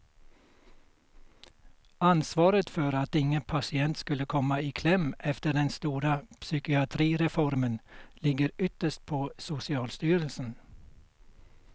Ansvaret för att ingen patient skulle komma i kläm efter den stora psykiatrireformen ligger ytterst på socialstyrelsen.